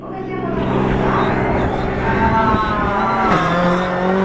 Comecei a fazer a faculdade, ah...